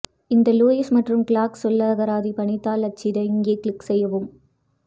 இந்த லூயிஸ் மற்றும் கிளார்க் சொல்லகராதி பணித்தாள் அச்சிட இங்கே கிளிக் செய்யவும்